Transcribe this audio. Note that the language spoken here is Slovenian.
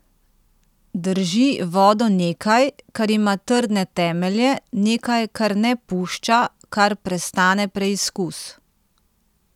Drži vodo nekaj, kar ima trdne temelje, nekaj, kar ne pušča, kar prestane preizkus.